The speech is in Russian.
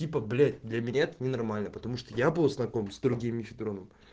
типо блять для меня это ненормально потому что я был знаком с другим мифидроном